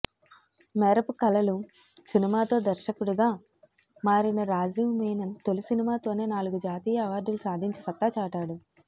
మేరపు కళలు సినిమాతో దర్శకుడిగా మారిన రాజీవ్ మీనన్ తోలి సినిమాతోనే నాలుగు జాతీయ అవార్డులు సాధించి సత్తా చాటాడు